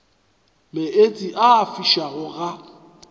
meetse a a fišago ga